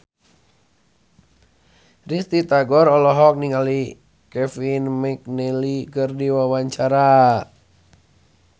Risty Tagor olohok ningali Kevin McNally keur diwawancara